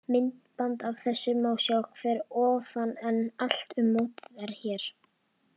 Myndband af þessu má sjá hér að ofan en Allt um mótið er hér.